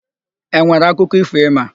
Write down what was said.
E nwere akụkọ ífò ị ma?